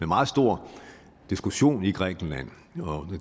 meget stor diskussion i grækenland og